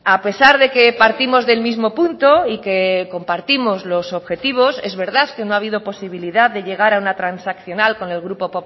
a pesar de que partimos del mismo punto y que compartimos los objetivos es verdad que no ha habido posibilidad de llegar a una transaccional con el grupo